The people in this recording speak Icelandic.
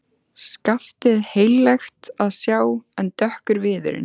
Skaftið heillegt að sjá en dökkur viðurinn.